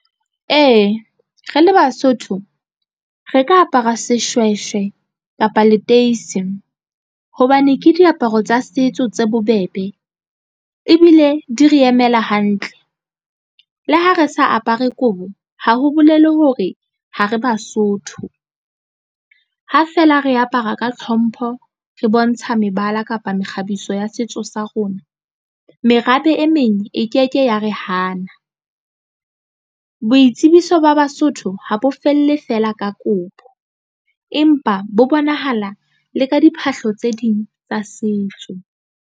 Ee, re le Basotho re ka apara seshweshwe kapa liteacy hobane ke diaparo tsa setso tse bobebe ebile di re emela hantle le ha re sa apara kobo. Ha ho bolele hore ha re Basotho ha feela re apara ka tlhompho re bontsha mebala kapa mekgabiso ya setso sa rona. Merabe e meng e ke ke ya re hana. Boitsebiso ba Basotho ha bo felle feela ka kobo empa bo bonahala le ka diphahlo tse ding tsa setso.